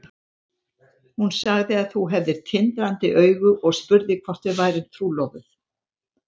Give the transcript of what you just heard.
Hún sagði að þú hefðir tindrandi augu og spurði hvort við værum trúlofuð.